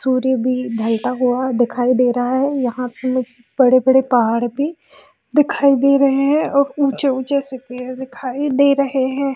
सूर्य भी ढ़लता हुआ दिखाई दे रहा है यहाँ पे बड़े-बड़े पहाड़ भी दिखाई दे रहें हैं और ऊंचे ऊंचे से पेड़ दिखाई दे रहें हैं।